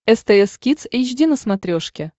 стс кидс эйч ди на смотрешке